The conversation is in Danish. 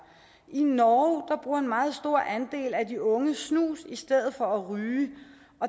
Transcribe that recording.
i norge bruger en meget stor andel af de unge snus i stedet for at ryge